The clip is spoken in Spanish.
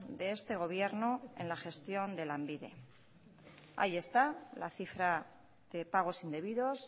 de este gobierno en la gestión de lanbide ahí esta la cifra de pagos indebidos